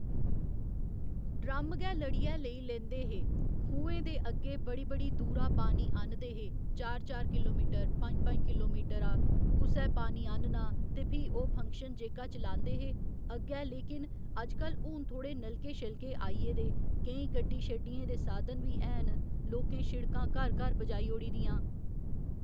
drum गै लड़ियै लेई लेंदे हे खूंहे दे अग्गे बड़ी बड़ी दूरा पानी आह्न्नदे हे चार चार किलोमीटरा पं'ञ पं'ञ किलोमीटरा कुसै पानी आह्न्ना ते फ्ही ओह् फंक्शन जेह्का चलांदे हे अग्गे लेकिन अजकल हून थ्होड़े नलके शलके आइयै दे केईं गड्डी शड्डियें दे साधन बी हैन लोकें शिडकां घर घर पजाई ओड़ी दियां